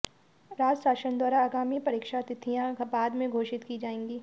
राज्य शासन द्वारा आगामी परीक्षा तिथियां बाद में घोषित की जाएंगी